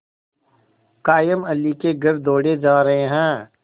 कायमअली के घर दौड़े जा रहे हैं